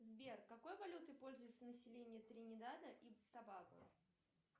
сбер какой валютой пользуется население тринидада и тобаго